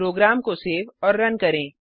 programme को save और run करें